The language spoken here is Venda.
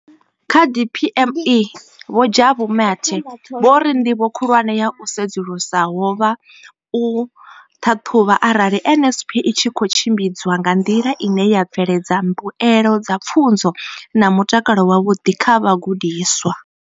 Kha DPME, Vho Jabu Mathe, vho ri, ndivho khulwane ya u sedzulusa ho vha u ṱhaṱhuvha arali NSNP i tshi khou tshimbidzwa nga nḓila ine ya bveledza mbuelo dza pfunzo na mutakalo wavhuḓi kha vhagudiswa.